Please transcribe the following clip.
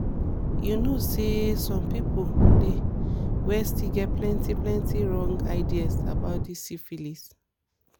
you know say some people dey where still get plenty plenty wrong ideas about this syphilis